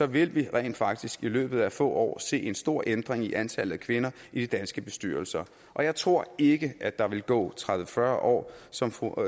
vil vi rent faktisk i løbet af få år se en stor ændring i antallet af kvinder i de danske bestyrelser og jeg tror ikke at der vil gå tredive til fyrre år som fru